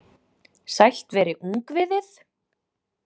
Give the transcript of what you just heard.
Sælt veri ungviðið.